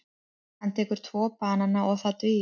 Hann tekur tvo banana og það dugir.